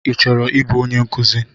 Ị chọrọ ibu onye nkuzi?